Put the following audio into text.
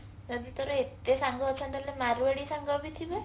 ଯଦି ତୋର ଏତେ ସାଙ୍ଗ ଅଛନ୍ତି ତାହାଲେ ତ ମାରୁଆଢି ସାଙ୍ଗ ବି ଥିବେ